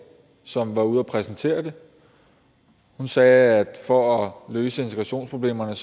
som var ude og præsentere det hun sagde at for at løse integrationsproblemerne